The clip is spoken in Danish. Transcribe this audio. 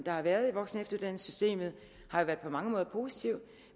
har været i voksenefteruddannelsessystemet har på mange måder været positiv